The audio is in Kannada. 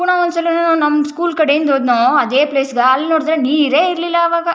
ಪುನಃ ಒಂದು ಸಲೀನು ನಮ್ಮ ಸ್ಕೂಲ್ ಕಡೆಯಿಂದ ಹೋದ್ನೋ ಅದೇ ಪ್ಲೇಸ್ ಗೆ ಅಲ್ಲಿ ನೋಡಿದ್ರೆ ನೀರೇ ಇರ್ಲಿಲ್ಲ ಅವಾಗ.